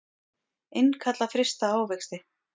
Innkalla frysta ávexti